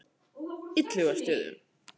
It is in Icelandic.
Illugastöðum